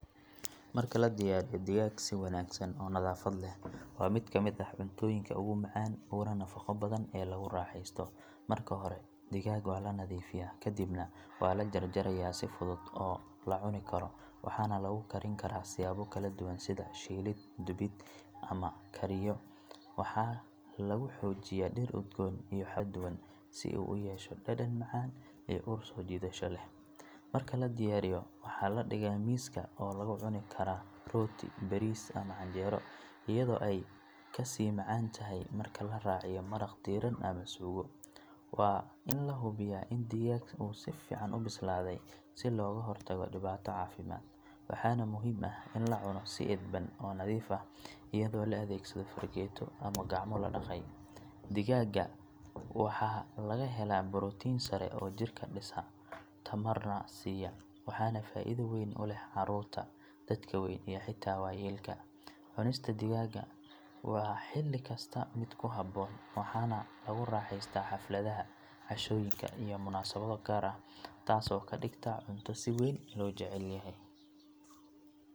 Marka la diyaariyo digaagga si wanaagsan oo nadaafad leh waa mid ka mid ah cuntooyinka ugu macaan uguna nafaqo badan ee lagu raaxaysto. Marka hore digaagga waa la nadiifiyaa ka dibna waa la jarjarayaa si fudud oo la cuni karo waxaana lagu karin karaa siyaabo kala duwan sida shiilid, dubid ama kariyo. Waxaa lagu xoojiyaa dhir udgoon iyo xawaashyo kala duwan si uu u yeesho dhadhan macaan iyo ur soo jiidasho leh. Marka la diyaariyo waxaa la dhigaa miiska oo lagu cuni karaa rooti, bariis ama canjeero iyadoo ay ka sii macaan tahay marka la raaciyo maraq diiran ama suugo. Waa in la hubiyaa in digaagga uu si fiican u bislaaday si looga hortago dhibaato caafimaad. Waxaana muhiim ah in la cuno si edban oo nadiif ah iyadoo la adeegsado fargeeto ama gacmo la dhaqay. Digaagga waxaa laga helaa borotiin sare oo jirka dhisa tamarna siiya waxaana faa'iido weyn u leh carruurta, dadka weyn iyo xitaa waayeelka. Cunista digaagga waa xilli kasta mid ku habboon waxaana lagu raaxeystaa xafladaha, cashooyinka iyo munaasabado gaar ah taas oo ka dhigta cunto si weyn loo jecel yahay.